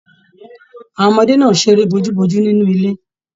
Àwọn ọmọdé náà seré bójúbójú nínú ilé.